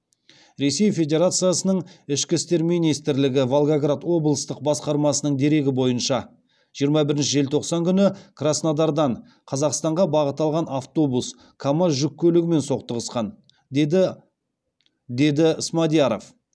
ресей федерациясының ішкі істер министрлігі волгоград облыстық басқармасының дерегі бойынша жиырма бірінші желтоқсан күні краснодардан қазақстанға бағыт алған автобус камаз жүк көлігімен соқтығысқан деді смадияров